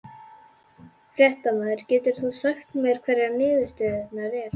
Fréttamaður: Getur þú sagt mér hverjar niðurstöðurnar eru?